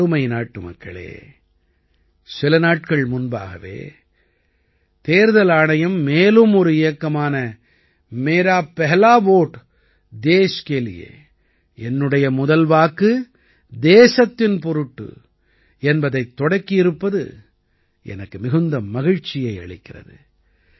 எனதருமை நாட்டுமக்களே சில நாட்கள் முன்பாகவே தேர்தல் ஆணையம் மேலும் ஒரு இயக்கமான मेरा पहला वोट देश के लिए என்னுடைய முதல் வாக்கு தேசத்தின் பொருட்டு என்பதைத் தொடக்கியிருப்பது எனக்கு மிகுந்த மகிழ்ச்சியை அளிக்கிறது